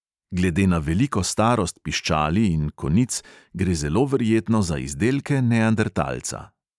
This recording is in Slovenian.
Glede na veliko starost piščali in konic gre zelo verjetno za izdelke neandertalca.